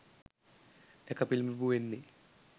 එක පිළිබිඹු වෙන්නේ